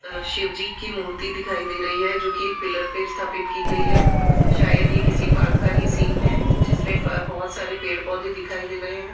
अह शिवजी की मूर्ति दिखाई दे रही है जोकि एक पिलर पे स्थापित की गई है शायद ये किसी पार्क का ही सीन है जिसमें बहुत सारे पेड़ पौधे दिखाई दे रहे हैं।